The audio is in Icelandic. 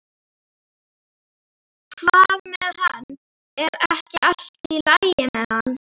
Hvað með hann, er ekki allt í lagi með hann?